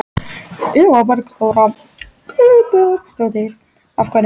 Eva Bergþóra Guðbergsdóttir: Af hverju?